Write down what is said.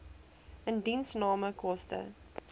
indiensname koste